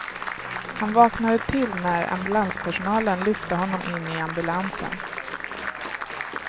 Han vaknade till när ambulanspersonalen lyfte honom in i ambulansen.